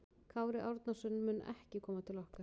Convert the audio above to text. Kári Árnason mun ekki koma til okkar.